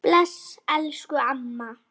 Bless elsku amma.